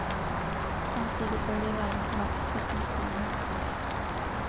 Samtidig bør de være på vakt for symptomer.